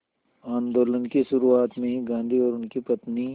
आंदोलन की शुरुआत में ही गांधी और उनकी पत्नी